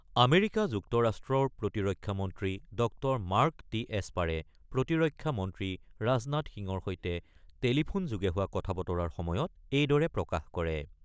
America যুক্তৰাষ্ট্ৰৰ প্ৰতিৰক্ষা মন্ত্ৰী ড মাৰ্ক টি এস্পাৰে প্ৰতিৰক্ষা মন্ত্ৰী ৰাজনাথ সিঙৰ সৈতে টেলিফোনযোগে হোৱা কথা-বতৰাৰ সময়ত এইদৰে প্ৰকাশ কৰে।